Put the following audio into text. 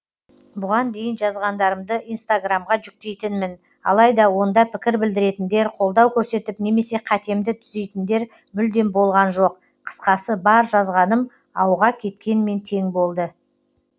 бұған дейін жазғандарымды инстаграмға жүктейтінмін алайда онда пікір білдіретіндер қолдау көрсетіп немесе қатемді түзейтіндер мүлдем болған жоқ қысқасы бар жазғаным ауға кеткенмен тең болды